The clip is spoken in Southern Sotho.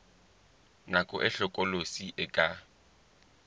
nako e hlokolosi e ka